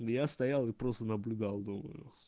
я стоял и просто наблюдал думаю